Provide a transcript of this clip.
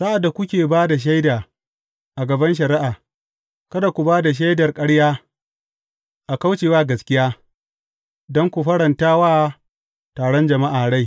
Sa’ad da kuke ba da shaida a gaban shari’a, kada ku ba da shaidar ƙarya a kauce wa gaskiya don ku faranta wa taron jama’a rai.